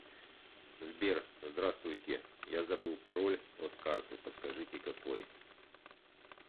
сбер здравствуйте я забыл пароль от карты подскажите какой